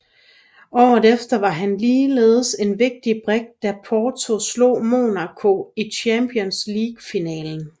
Året efter var han ligeledes en vigtig brik da Porto slog Monaco i Champions League finalen